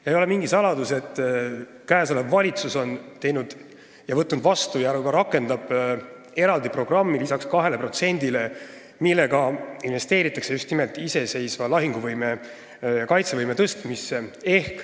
See ei ole mingi saladus, et praegune valitsus on teinud, võtnud vastu ja ka rakendab eraldi programmi lisaks 2%-le, millega investeeritakse just nimelt iseseisva lahinguvõime, kaitsevõime tõstmisse.